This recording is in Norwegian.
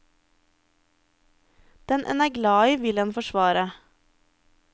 Den en er glad i, vil en forsvare.